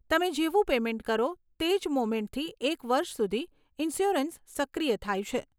તમે જેવુ પેમેન્ટ કરો તે જ મોમેન્ટ થી એક વર્ષ સુધી ઇન્શ્યોરન્સ સક્રિય થાય છે.